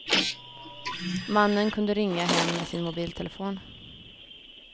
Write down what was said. Mannen kunde ringa hem med sin mobiltelefon.